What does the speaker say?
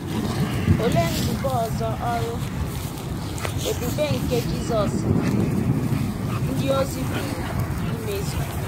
Olee nzube ọzọ ọrụ um ebube nke Jisọs na um ndị ozi pụrụ imezu?